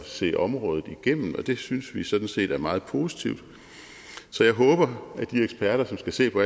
se området igennem og det synes vi sådan set er meget positivt så jeg håber at de eksperter som skal se på